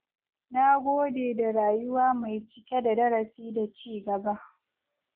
Na gode da rayuwa mai cike da darasi da cigaba.